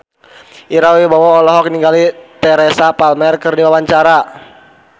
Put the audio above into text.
Ira Wibowo olohok ningali Teresa Palmer keur diwawancara